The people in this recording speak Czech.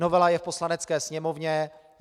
Novela je v Poslanecké sněmovně.